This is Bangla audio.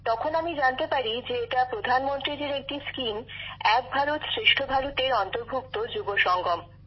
তখন আমি জানতে পারি যে এটা প্রধানমন্ত্রীজির একটি কর্মসূচী এক ভারত শ্রেষ্ঠ ভারতএর অন্তর্ভুক্ত যুবসঙ্গম